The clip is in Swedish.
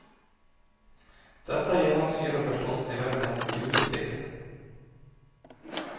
Detta genomsyrar förstås även hennes julspel.